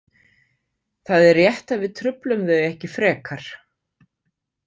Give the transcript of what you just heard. Það er rétt að við truflum þau ekki frekar.